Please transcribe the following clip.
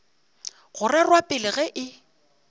go rerwa pele ge e